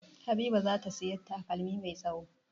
Habiba za ta sayi takalmi mai tsawo.